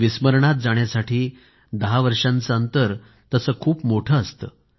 विस्मरणात जाण्यासाठी 10 वर्षांचं अंतर खूप मोठं असतं